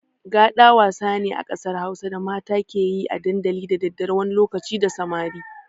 Gaɗa wasa ne a ƙasar Hausa da mata ke yi a dandali da daddare wani lokaci da samari.